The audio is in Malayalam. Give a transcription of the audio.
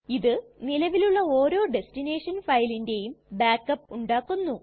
ഇത് നിലവിലുള്ള ഓരോ ടെസ്ടിനെഷൻ ഫയലിന്റെയും ബാക്ക് അപ്പ് ഉണ്ടാക്കുന്നു